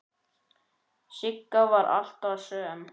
Sigga var alltaf söm.